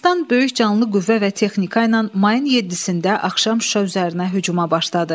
Ermənistan böyük canlı qüvvə və texnika ilə mayın 7-də axşam Şuşa üzərinə hücuma başladı.